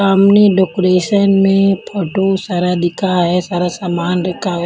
सामने डेकोरेशन में फोटो सारा दिखा है सारा सामान रेखा है.